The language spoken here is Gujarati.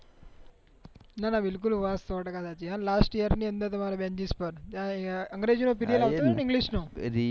ના ના બિલકુલ વાત સો ટકા સાચી લાસ્ટ યેંર ની અંદર ની તમારે બેન્ચીસ પર અંગ્રેજી નો પેરીઅડ આવતો તો ને